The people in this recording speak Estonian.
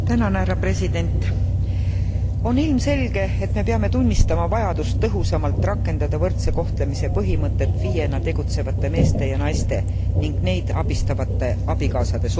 On ilmselge, et me peame tunnistama vajadust tõhusamalt rakendada võrdse kohtlemise põhimõtet FIEna tegutsevate meeste ja naiste ning neid abistavate abikaasade suhtes.